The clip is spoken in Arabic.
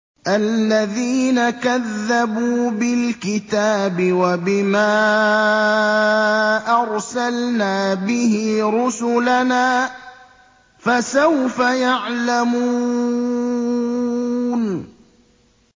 الَّذِينَ كَذَّبُوا بِالْكِتَابِ وَبِمَا أَرْسَلْنَا بِهِ رُسُلَنَا ۖ فَسَوْفَ يَعْلَمُونَ